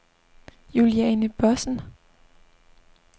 Juliane Bossen